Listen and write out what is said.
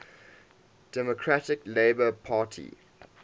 democratic labour party